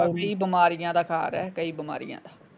ਕਈ ਬਿਮਾਰੀਆਂ ਦਾ ਘਰ ਏ ਕਈ ਬਿਮਾਰੀਆਂ ਦਾ।